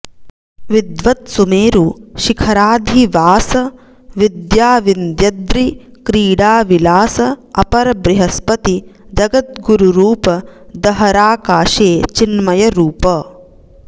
विद्वत्सुमेरु शिखराधिवास विद्या विन्द्यद्रि क्रीडाविलास अपर बृहस्पति जगद्गुरुरूप दहराकाशे चिन्मयरूप